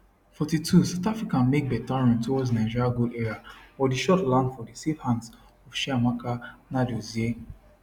42 south africa make beta run towards nigeria goal area but di shot land for di safe hands of chiamaka nnadozie